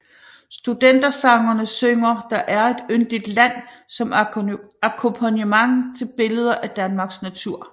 Studentersangerne synger Der er et yndigt land som akkompagnement til billeder af Danmarks natur